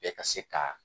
Bɛɛ ka se ka